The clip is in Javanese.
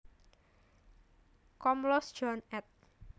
Komlos John ed